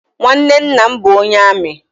Nwanne nna m bụ onye amị.